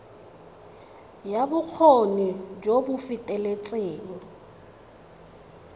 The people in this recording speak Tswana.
ya bokgoni jo bo feteletseng